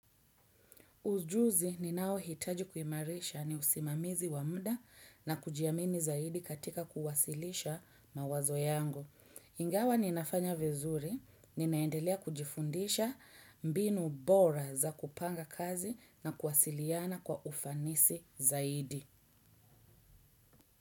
Ujuzi ninaohitaji kuimarisha ni usimamizi wa muda na kujiamini zaidi katika kuwasilisha mawazo yangu. Ingawa ninafanya vizuri, ninaendelea kujifundisha mbinu bora za kupanga kazi na kuwasiliana kwa ufanisi zaidi.